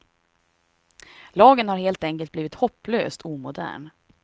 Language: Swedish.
Lagen har helt enkelt blivit hopplöst omodern.